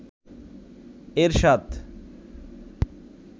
এরশাদ